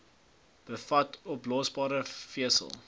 bevat oplosbare vesel